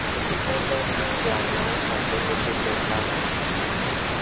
noto pizza naata pilipili sapuk